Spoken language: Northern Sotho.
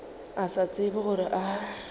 a sa tsebe gore a